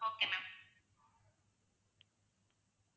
okay ma'am